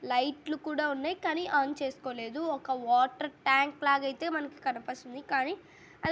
లైట్లు కూడా ఉన్నాయ్ కానీ అన్ చేసుకోలేదు ఒక వాటర్ ట్యాంక్ లాగైతే మనకి కనపస్తుంది కానీ----